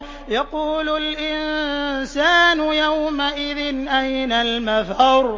يَقُولُ الْإِنسَانُ يَوْمَئِذٍ أَيْنَ الْمَفَرُّ